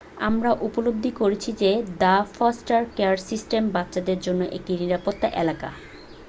আমরা উপলব্ধি করেছি যে দ্য ফস্টার কেয়ার সিস্টেম বাচ্চাদের জন্য একটি নিরাপদ এলাকা